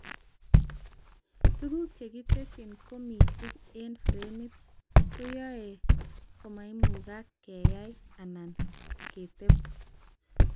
Tuguk chekitesyi koo mising eng framit, koyoe komaimukak keyai anan keteb